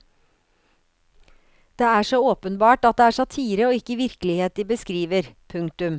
Det er så åpenbart at det er satire og ikke virkelighet de beskriver. punktum